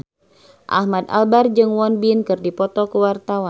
Ahmad Albar jeung Won Bin keur dipoto ku wartawan